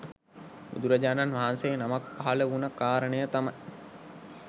බුදුරජාණන් වහන්සේ නමක් පහළ වුණ කාරණය තමයි